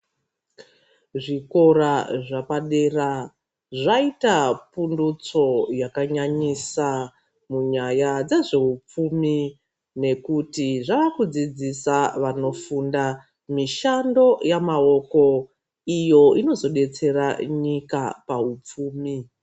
Zvikora zvapadera zvaita pundutso yakanyanyisa munyaya dzezveufumi nekuti zvakudzidzisa vanofunda mishando yamaoko iyo inozodetsera nyika paupfumi.